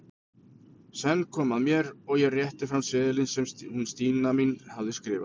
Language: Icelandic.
Senn kom að mér og ég rétti fram seðilinn sem hún Stína mín hafði skrifað.